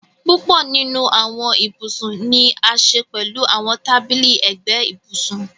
Púpọ̀ nínu awọn íbusun ni a ṣẹ pẹ̀lú àwọn tàbílí ẹgbẹ̀ íbusùn.